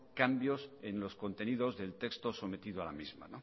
cambios en los contenidos del texto sometido a la misma